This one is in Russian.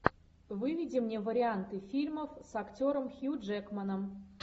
выведи мне варианты фильмов с актером хью джекманом